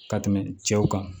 Ka tɛmɛ cɛw kan